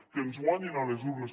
que ens guanyin a les urnes